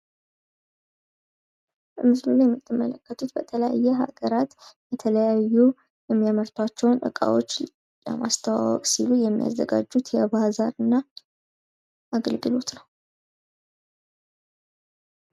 በምስሉ ላይ የምትመለከቱት በተለያየ ሀገራት የተለያዩ የሚያመርታቸውን እቃዎቶች ለማስተዋወቅ ሲሉ የሚያዘጋጁት የባዛር እና አገልግሎት ነው።